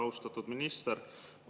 Austatud minister!